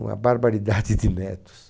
Uma barbaridade de netos.